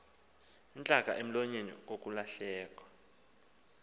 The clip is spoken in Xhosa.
intlaka emlonyeni kukulahlekwa